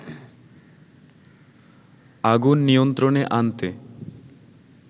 আগুন নিয়ন্ত্রণে আনতে